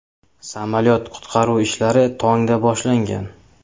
Samolyot qutqaruv ishlari tongda boshlangan.